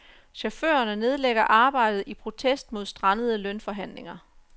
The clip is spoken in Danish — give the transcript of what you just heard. Chaufførerne nedlægger arbejdet i protest mod strandede lønforhandlinger.